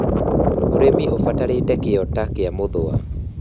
Ūrĩmi ũbatarĩte kĩo ta kĩa mũthũa